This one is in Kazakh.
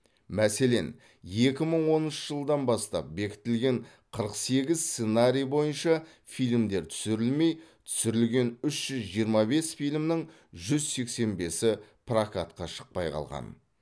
мәселен екі мың оныншы жылдан бастап бекітілген қырық сегіз сценарий бойынша фильмдер түсірілмей түсірілген үш жүз жиырма бес фильмнің жүз сексен бесі прокатқа шықпай қалған